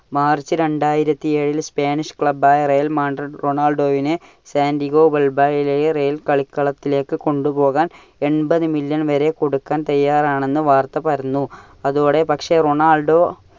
March രണ്ടായിരത്തി എഴിൽ spanish club ആയ real madrid റൊണാൾഡോവിനെ സാന്ഡിഗോ വാൾബാരയിലെ real കളിക്കളത്തിലേക്കു കൊണ്ടുപോകുവാൻ എൺപതു million വരെ കൊടുക്കുവാൻ തയാറാണെന്നു വാർത്ത പരന്നു. അതോടെ പക്ഷെ റൊണാൾഡോ